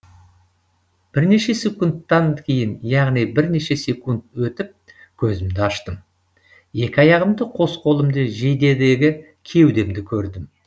бірнеше секундтан кейін яғни бірнеше секунд өтіп көзімді аштым екі аяғымды қос қолымды жейдедегі кеудемді көрдім